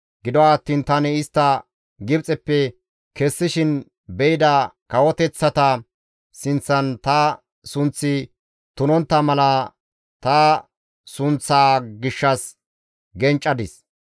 Gido attiin tani istta Gibxeppe kessishin be7ida kawoteththata sinththan ta sunththi tunontta mala ta sunththaa gishshas genccadis.